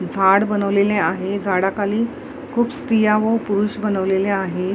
झाड बनवलेले आहे झाडाखाली खूप स्त्रिया व पुरुष बनवलेले आहे.